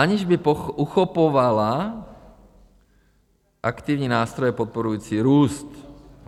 Aniž by uchopovala aktivní nástroje podporující růst.